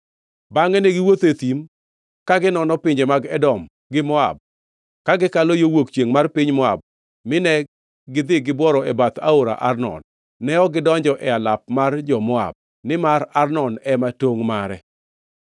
“Bangʼe negiwuotho e thim, ka ginono pinje mag Edom gi Moab, ka gikalo yo wuok chiengʼ mar piny Moab mine gidhi gibworo e bath aora Arnon. Ne ok gidonjo e alap mar jo-Moab, nimar Arnon ema tongʼ mare.